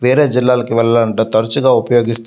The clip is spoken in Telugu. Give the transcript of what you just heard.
వేరే జిల్లాలకు వెళ్లాలంటే తరుచుగా ఉపయోగిస్ --